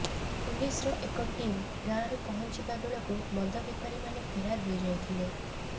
ପୁଲିସର ଏକ ଟିମ ଗାଁରେ ପହଞ୍ଚିବା ବେଳକୁ ମଦ ବେପାରୀମାନେ ଫେରାର ହୋଇଯାଇଥିଲେ